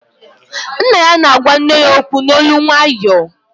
Nna ya na-agwa nne ya okwu n'olu nwayọọ